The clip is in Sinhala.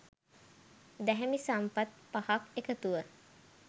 දැහැමි සම්පත් පහක් එකතුව